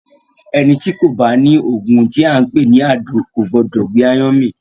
Ẹní tí ko bá ni oògùn tí a npè ni “adoado” ko gbọdọ gbé aáyán mì.